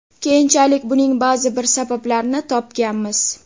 Keyinchalik buning ba’zi bir sabablarini topganmiz.